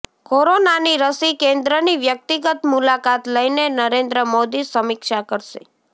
કોરોનાની રસી કેન્દ્રની વ્યક્તિગત મુલાકાત લઈને નરેન્દ્ર મોદી સમિક્ષા કરશે